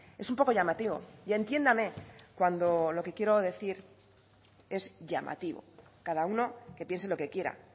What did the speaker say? es un poco llamativo y entiéndame cuando lo que quiero decir es llamativo cada uno que piense lo que quiera